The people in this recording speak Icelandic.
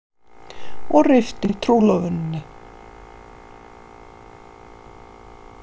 Og rifti trúlofuninni.